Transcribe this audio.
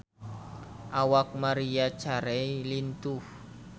Awak Maria Carey lintuh